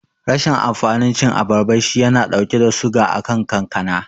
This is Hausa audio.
Rashin amfanin cin abarba shi yana dauke da suga akan kankana.